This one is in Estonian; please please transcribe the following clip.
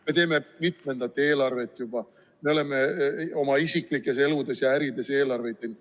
Me teeme mitmendat eelarvet juba, me oleme oma isiklikes eludes ja ärides eelarveid teinud.